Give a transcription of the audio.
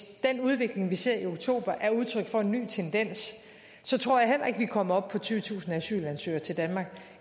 den udvikling vi har set i oktober er udtryk for en ny tendens så tror jeg heller ikke at vi kommer op på tyvetusind asylansøgere til danmark